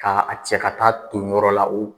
Ka a cɛ ka taa ton yɔrɔ la u